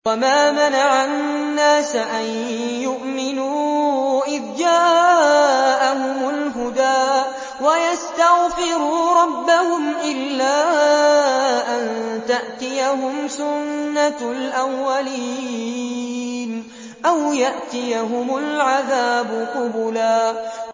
وَمَا مَنَعَ النَّاسَ أَن يُؤْمِنُوا إِذْ جَاءَهُمُ الْهُدَىٰ وَيَسْتَغْفِرُوا رَبَّهُمْ إِلَّا أَن تَأْتِيَهُمْ سُنَّةُ الْأَوَّلِينَ أَوْ يَأْتِيَهُمُ الْعَذَابُ قُبُلًا